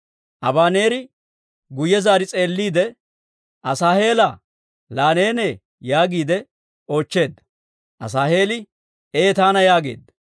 Abaneeri guyye zaari s'eelliide, «Asaaheelaa, laa neenee?» yaagiide oochcheedda. Asaaheeli, «Ee taana» yaageedda.